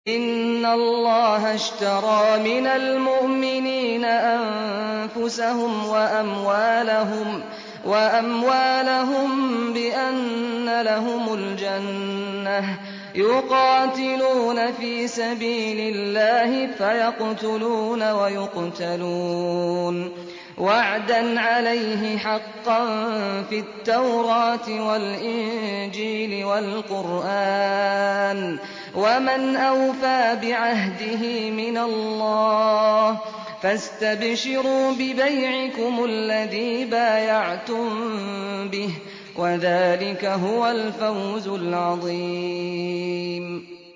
۞ إِنَّ اللَّهَ اشْتَرَىٰ مِنَ الْمُؤْمِنِينَ أَنفُسَهُمْ وَأَمْوَالَهُم بِأَنَّ لَهُمُ الْجَنَّةَ ۚ يُقَاتِلُونَ فِي سَبِيلِ اللَّهِ فَيَقْتُلُونَ وَيُقْتَلُونَ ۖ وَعْدًا عَلَيْهِ حَقًّا فِي التَّوْرَاةِ وَالْإِنجِيلِ وَالْقُرْآنِ ۚ وَمَنْ أَوْفَىٰ بِعَهْدِهِ مِنَ اللَّهِ ۚ فَاسْتَبْشِرُوا بِبَيْعِكُمُ الَّذِي بَايَعْتُم بِهِ ۚ وَذَٰلِكَ هُوَ الْفَوْزُ الْعَظِيمُ